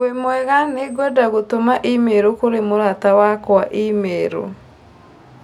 Wĩmwega nĩngwenda gũtũma i-mīrū kũrĩ mũrata wakwa i-mīrū.